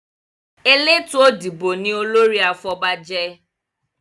Eletu Odibo ní olórí àfobajé.